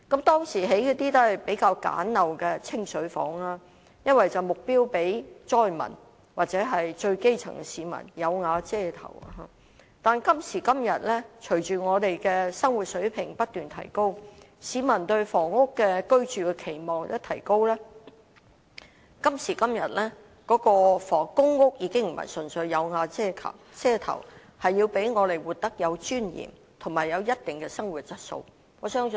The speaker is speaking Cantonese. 當時興建的公屋是比較簡陋的"清水房"，因為目標是讓災民或最基層的市民有瓦遮頭；但今時今日，隨着我們的生活水平不斷提高，市民對居住房屋的期望相應提高，公屋已不是純粹為了讓市民有瓦遮頭，而是要讓市民活得有尊嚴及有一定的生活質素。